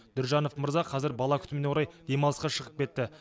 дүржанов мырза қазір бала күтіміне орай демалысқа шығып кетті